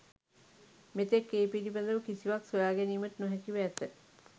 මෙතෙක් ඒ පිළිබඳව කිසිවක් සොයාගැනීමට නොහැකිව ඇත.